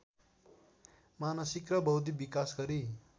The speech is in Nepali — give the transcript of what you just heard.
मानसिक र बौद्धिक विकास गरी